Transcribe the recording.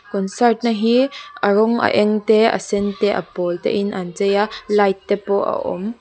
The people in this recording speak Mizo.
concert na hi a rawng a eng te a sen te a pawl te in an chei a light te pawh a awm.